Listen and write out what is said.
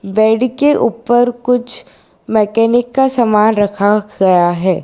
Bed के ऊपर कुछ मैकेनिक का समान रखा गया है।